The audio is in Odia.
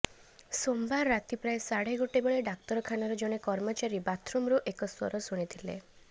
ସୋମବାର ରାତି ପ୍ରାୟ ସାଢ଼େ ଗୋଟେ ବେଳେ ଡାକ୍ତରଖାନାର ଜଣେ କର୍ମଚାରୀ ବାଥ୍ରୁମ୍ରୁ ଏକ ସ୍ୱର ଶୁଣିଲେ